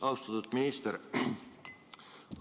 Austatud minister!